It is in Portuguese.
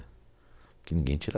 Porque ninguém tira